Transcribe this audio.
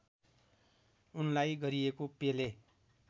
उनलाई गरिएको पेले